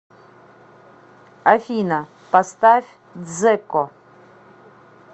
афина поставь дзеко